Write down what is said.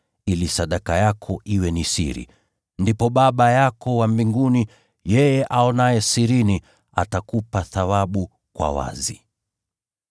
ili sadaka yako iwe ni siri. Ndipo Baba yako wa mbinguni, yeye aonaye sirini atakupa thawabu kwa wazi.